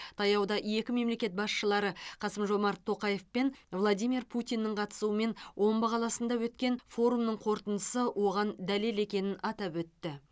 таяуда екі мемлекет басшылары қасым жомарт тоқаев пен владимир путиннің қатысуымен омбы қаласында өткен форумның қорытындысы оған дәлел екенін атап өтті